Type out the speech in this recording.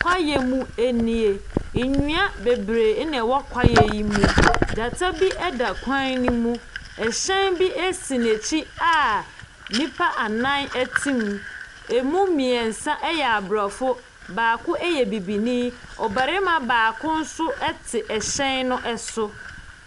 Kwaeɛ nu nie. Nnua bebree na wɔ kwaeɛ no mu. Gyata bi da kwan no mu. Ɛhyɛn bi si n'akyi a nnipa anan te mu. Ɛmmu mmiɛnsa yɛ Aborɔfo. Baako yɛ Bibini. Ɔbarima baako nso te hyɛn no so.